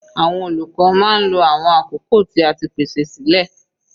Àwọn olùkọ́ máa ń lo awọn àkókò tí a ti pèsè sílẹ̀.